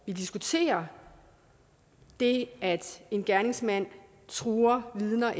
vi diskuterer det at en gerningsmand truer vidner